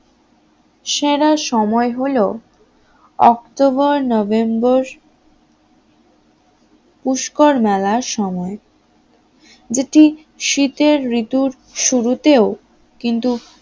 সেরা সময় হলো অক্টোবর-নভেম্বর পুষ্কর মেলার সময় যেটি শীতের ঋতুর শুরুতেও কিন্তু